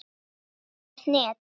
Ekkert net.